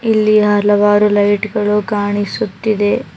ಇಲ್ಲಿ ಹಲವಾರು ಲೈಟ್ ಗಳು ಕಾಣಿಸುತ್ತಿದೆ.